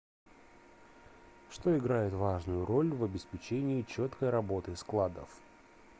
что играет важную роль в обеспечении четкой работы складов